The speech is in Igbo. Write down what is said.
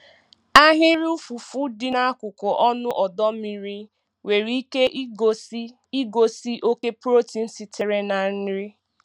Ahịrị ụfụfụ dị n'akụkụ ọnụ ọdọ mmiri nwere ike igosi igosi oke protein sitere na nri.